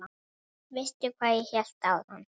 Veistu hvað ég hélt áðan?